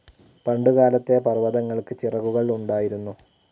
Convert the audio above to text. പണ്ടുകാലത്തെ പർവ്വതങ്ങൾക്ക് ചിറകുകൾ ഉണ്ടായിരുന്നു.